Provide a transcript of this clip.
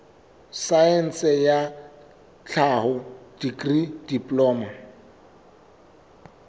saense ya tlhaho dikri diploma